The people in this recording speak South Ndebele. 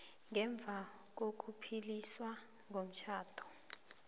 ngemva kokupheliswa komtjhado